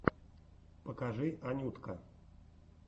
покажи анютка